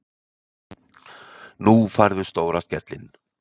Nú færðu stóra skellinn.